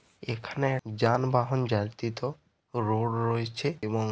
এখানে এক যানবাহন যাত্রীতো রোড রয়েছে এবং--